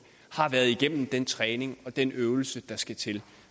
har været igennem den træning og den øvelse der skal til